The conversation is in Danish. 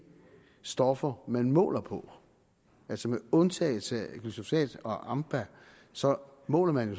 stoffer man måler på altså med undtagelse af glyfosat og ampa så måler man